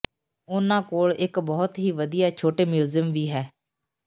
ਉਹਨਾਂ ਕੋਲ ਇਕ ਬਹੁਤ ਹੀ ਵਧੀਆ ਛੋਟੇ ਮਿਊਜ਼ੀਅਮ ਵੀ ਹੈ